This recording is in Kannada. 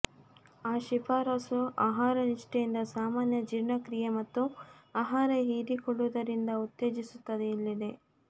ಆ ಶಿಫಾರಸು ಆಹಾರ ನಿಷ್ಠೆಯಿಂದ ಸಾಮಾನ್ಯ ಜೀರ್ಣಕ್ರಿಯೆ ಮತ್ತು ಆಹಾರ ಹೀರಿಕೊಳ್ಳುವುದರಿಂದ ಉತ್ತೇಜಿಸುತ್ತದೆ ಇಲ್ಲಿದೆ